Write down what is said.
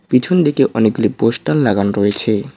পিছনদিকে অনেকগুলি পোস্টার লাগানো রয়েছে।